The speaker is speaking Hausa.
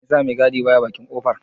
Me ya sa mai gadi ba ya bakin kofar?